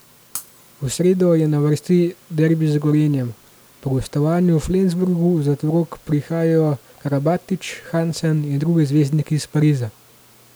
V sredo je na vrsti derbi z Gorenjem, po gostovanju v Flensburgu v Zlatorog prihajajo Karabatić, Hansen in drugi zvezdniki iz Pariza ...